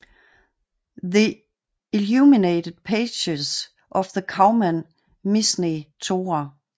The illuminated Pages of the Kaufmann Mishneh Torah